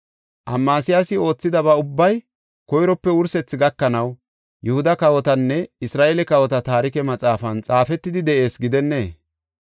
Amasiyaasi oothidaba ubbay koyrope wursethi gakanaw Yihuda kawotanne Isra7eele kawota taarike maxaafan xaafetidi de7ees gidennee?